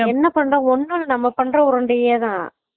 என்ன பண்றாங்க ஒண்ணும் இல்ல நம்ம பண்ற உருண்டையே தான்